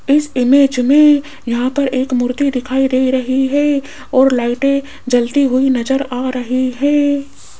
इस इमेज मे यहां पर एक मूर्ति दिखाई दे रही है और लाइटें जलती हुई नज़र आ रही है।